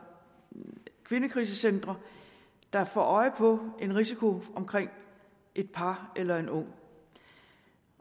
kvindekrisecentre der får øje på en risiko omkring et par eller en ung